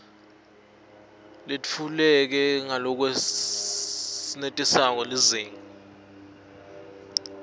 letfuleke ngalokwenetisako lizinga